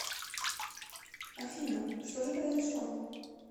афина что же произошло